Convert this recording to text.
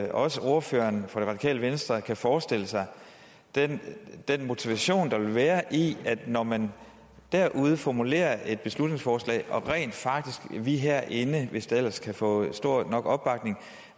ordføreren for det radikale venstre kan forestille sig den den motivation der vil være i det når man derude formulerer et beslutningsforslag og vi herinde rent hvis det ellers kan få stor nok opbakning